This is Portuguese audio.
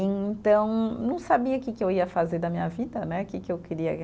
E então, não sabia que que eu ia fazer da minha vida né, que que eu queria